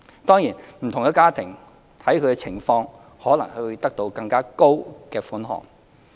當然，不同的家庭視乎情況可能會獲得更高的款項。